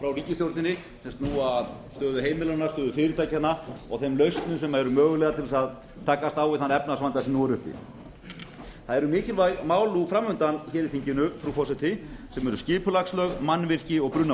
ríkisstjórninni sem snúa að stöðu heimilanna stöðu fyrirtækjanna og þeim lausnum sem eru mögulegar til þess að takast á við þann efnahagsvanda sem nú er uppi það eru mikilvæg mál nú fram undan hér í þinginu frú forseti sem eru skipulagslög mannvirki og